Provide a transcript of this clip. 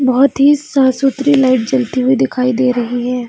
बहुत ही साफ़-सुथरी लाइट जलते हुए दिखाई दे रही है।